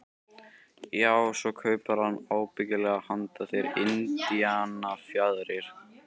Já, svo kaupir hann ábyggilega handa þér indíánafjaðrir.